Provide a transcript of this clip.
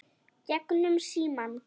Gegnum símann.